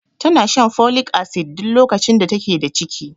Tana shan folic acid duk lokacin da take da ciki.